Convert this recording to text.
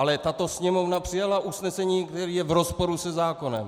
Ale tato Sněmovna přijala usnesení, které je v rozporu se zákonem.